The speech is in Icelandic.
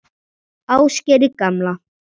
Ásgeiri gamla.